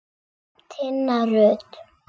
Tinna Rut.